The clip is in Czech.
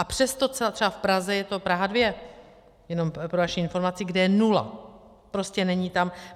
A přesto třeba v Praze, je to Praha 2, jenom pro vaši informaci, kde je nula, prostě není tam.